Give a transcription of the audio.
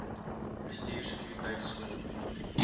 bestuur sekuriteit skoonmaak